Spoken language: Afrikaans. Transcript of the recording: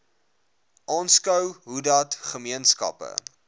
aanskou hoedat gemeenskappe